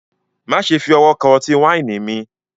Maṣẹ fi ọwọ̀ kan ọ̀tí-waini mi